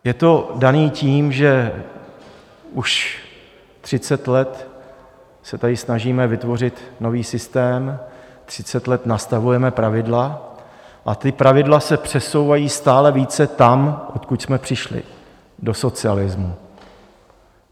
Je to dané tím, že už 30 let se tady snažíme vytvořit nový systém, 30 let nastavujeme pravidla, a ta pravidla se přesouvají stále více tam, odkud jsme přišli, do socialismu.